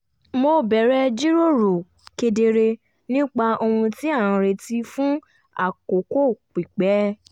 mo bẹ̀rẹ̀ jíròrò kedere nípa ohun tí a ń retí fún àkókò pípẹ́